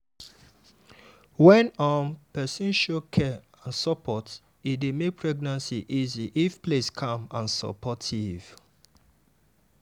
wen um person show care and support e dey make pregnancy easy if place calm and supportive.